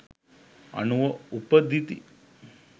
අනුව උපදිති.